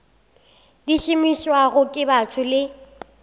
di šomišwago ke batho le